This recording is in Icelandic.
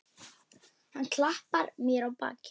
Hann klappar mér á bakið.